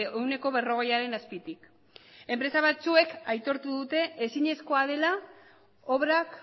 ehuneko berrogeiaren azpitik enpresa batzuek aitortu dute ezinezkoa dela obrak